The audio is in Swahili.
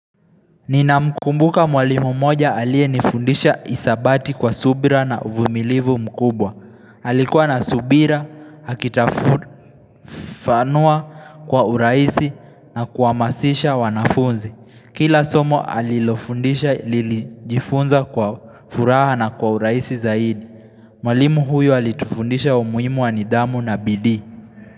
Ninamkumbuka mwalimu moja aliye nifundisha hisabati kwa subira na uvumilivu mkubwa Alikuwa na subira, akitufafanua kwa urahisi na kuhamasisha wanafunzi Kila somo alilofundisha lilijifunza kwa furaha na kwa urahisi zaidi Mwalimu huyo alitufundisha umuhimu wa nidhamu na bidii.